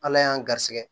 Ala y'an garisɛgɛ